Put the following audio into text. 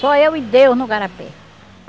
Só eu e Deus no igarapé.